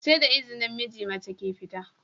SE da izinin miji, mace ke fita